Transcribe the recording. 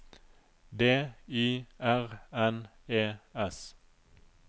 D Y R N E S